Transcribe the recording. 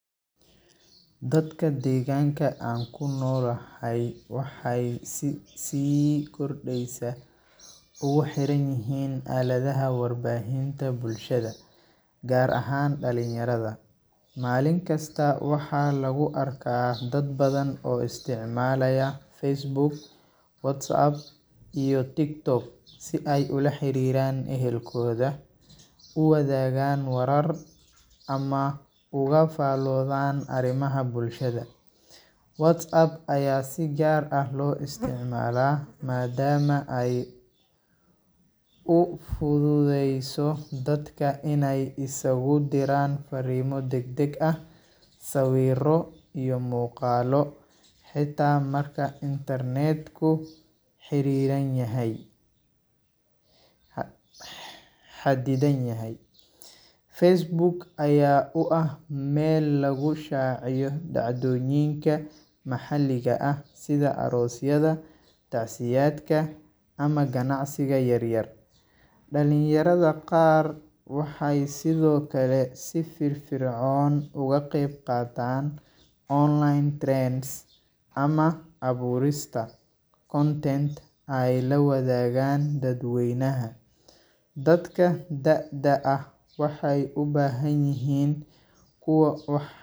Dadka deganka aan kunolahay waxay si kordeysa ogu rixanyihin aladaha warbahinta bulshada gar ahan dalinyarada, malin kista waxa lagu arka dad badhan oo istacmalayah facebook, whatzapp, tiktok sii ay ulaxiran ehelkodha uwadhagan warar ama ogafalodan arimaha bulshada whatsapp aya si gar ah loo istacmala madama aay ufududeyso dadka iskugu diran farimo degdeg ah siwiro iyoh muqalo xita marka intanedku xiriranyahy, xadidanyhay facebook aya ah mel lagu shaciyo dacdoyinka maxaliga ah, sidha arosyada, tacsiyadka ama ganacsiga yaryar, dalinyarada qar waxay sidiokale si firfircon oga qeyb qatan online trades amah aburista content aay lawadagan dad weynaha dadaka da'da ah waxay kuwa wax.